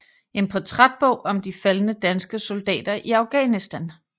En portrætbog om de faldne danske soldater i Afghanistan